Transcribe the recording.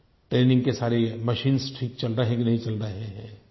training के सारे machines ठीक चल रहे हैं कि नहीं चल रहे हैं